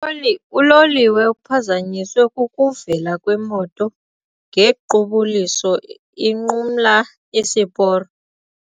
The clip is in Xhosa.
Uloli uloliwe uphazanyiswe kukuvela kwemoto ngequbuliso inqumla isiporo.